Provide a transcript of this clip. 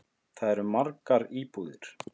Þar eru margar búðir.